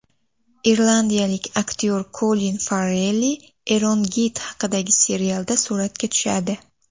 Irlandiyalik aktyor Kolin Farrell Erongeyt haqidagi serialda suratga tushadi.